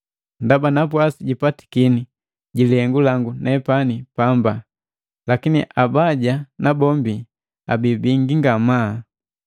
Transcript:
Ndaba napwasi jipatakini ji lihengu langu nepani pamba, lakini abaja nabombi abii bingi ngamaa.